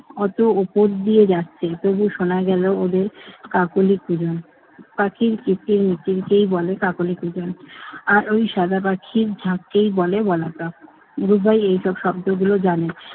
অত উপর দিয়ে যাচ্ছে তবুও শোনা গেল কাকলি কিরণ। পাখির কিচিরমিচিরকেই বলে কাকলি কিরণ। আর ওই সাদা পাখির ঝাঁককেই বলে বলাকা। রুবাই এই সব শব্দগুলো জানে না।